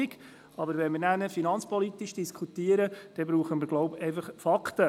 Diskutieren wir aber über finanzpolitische Aspekte, benötigen wir Fakten.